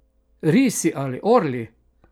Risi ali orli?